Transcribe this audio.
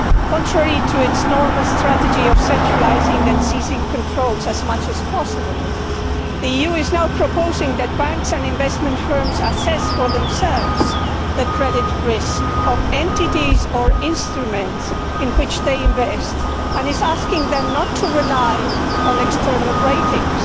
Contrary to its normal strategy of centralising and seizing control as much as possible, the EU is now proposing that banks and investment firms assess for themselves the credit risk of entities or instruments in which they invest, and is asking them not to rely on external ratings.